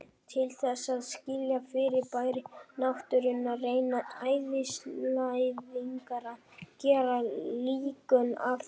Til þess að skilja fyrirbæri náttúrunnar reyna eðlisfræðingar að gera líkön af þeim.